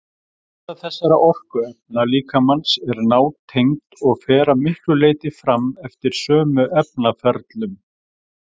Brennsla þessara orkuefna líkamans er nátengd og fer að miklu leyti fram eftir sömu efnaferlum.